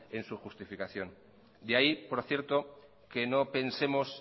en su justificación de ahí por cierto que no pensemos